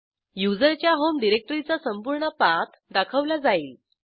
युजरच्या होम डिरेक्टरीचा संपूर्ण पाथ दाखवला जाईल